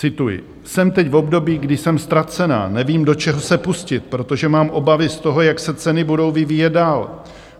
Cituji: "Jsem teď v období, kdy jsem ztracená, nevím, do čeho se pustit, protože mám obavy z toho, jak se ceny budou vyvíjet dál.